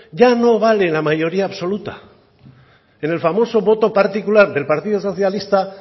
ya no vale la mayoría absoluta en el famoso voto particular del partido socialista